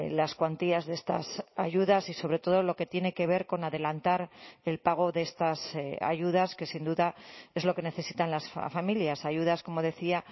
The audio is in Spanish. las cuantías de estas ayudas y sobre todo lo que tiene que ver con adelantar el pago de estas ayudas que sin duda es lo que necesitan las familias ayudas como decía